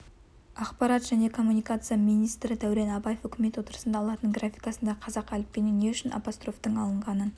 ақпарат және коммуникация министрі дәурен абаев үкімет отырысында латын графикасындағы қазақ әліпбиінен не үшін апострофтың алынғанын